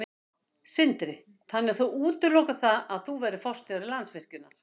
Sindri: Þannig að þú útilokar það að þú verðir forstjóri Landsvirkjunar?